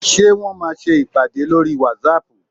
Ṣé Wọ́n máa ṣe ìpàdé lórí whatsapp?